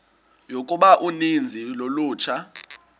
yokuba uninzi lolutsha